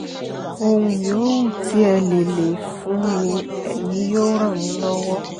ohun yòówù tí ẹ lè lè fún mi ẹ̀yin yóò ràn mí lọ́wọ́